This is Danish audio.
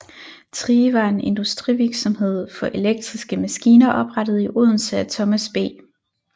Thrige var en industrivirksomhed for elektriske maskiner oprettet i Odense af Thomas B